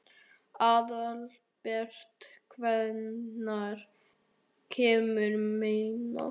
Aðalbert, hvenær kemur nían?